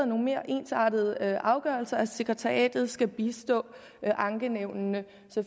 nogle mere ensartede afgørelser og at sekretariatet skal bistå ankenævnene så